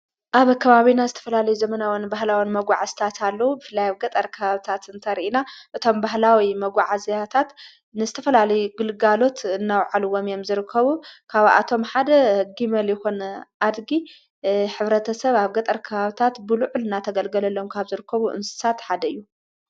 ኣብ ኣካባቤ ና ስተፈላለ ዘመናወን ባህላወን መጕዕ ስታት ለዉ ብፍላይ ኣብ ገጠርከሃብታት እንተርኢና እቶም ባህላዊ መጕዓ ዘያታት ንስተፈላል ግልጋሎት እናውዓልዎም የም ዝርከቡ ካብኣቶም ሓደ ጊመል ይሆን ኣድጊ ኅብረተ ሰብ ኣብ ገጠር ክሃብታት ብሉዑ ል እና ተገልገለሎም ካ ኣብ ዘርከቡ እንስሳት ሓደ እዩ።